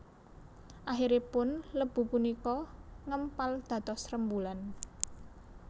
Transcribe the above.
Akhiripun lebu punika ngempal dados rembulan